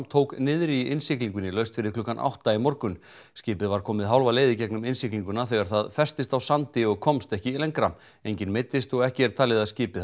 tók niðri í innsiglingunni laust fyrir klukkan átta í morgun skipið var komið hálfa leið í gegnum innsiglinguna þegar það festist á sandi og komst ekki lengra enginn meiddist og ekki er talið að skipið